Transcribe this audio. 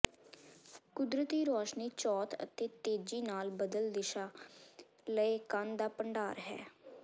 ਕੁਦਰਤੀ ਰੌਸ਼ਨੀ ਚੌਥ ਅਤੇ ਤੇਜ਼ੀ ਨਾਲ ਬਦਲ ਦਿਸ਼ਾ ਲਏ ਕਣ ਦਾ ਭੰਡਾਰ ਹੈ